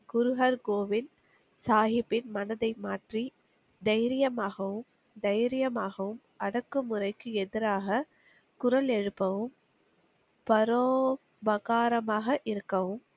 குருஹர் கோவிந்த், சாகிப்பின் மனதை மாற்றி தைரியமாகவும், தைரியமாகவும் அடக்கு முறைக்கு எதிராக, குரல் எழுப்பவும், பரோ பகாராமாக இருக்கவும்,